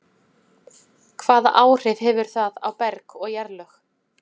Hvaða áhrif hefur það á berg og jarðlög?